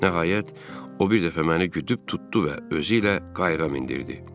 Nəhayət, o bir dəfə məni güdüb tutdu və özü ilə qayığa mindirdi.